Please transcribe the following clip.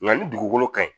Nka ni dugukolo ka ɲi